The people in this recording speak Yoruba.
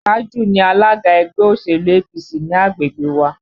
Tájù ni alága ẹgbẹ́ òṣèlú APC ti agbègbè wa